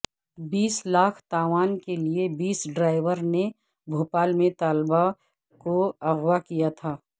بیس لاکھ تاوان کے لئے بس ڈرائیور نے بھوپال میں طالبہ کو اغوا کیا تھا